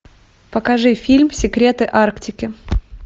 покажи фильм секреты арктики